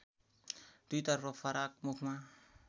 दुईतर्फ फराक मुखमा